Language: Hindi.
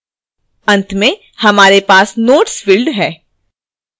अंत में हमारे पास notes field है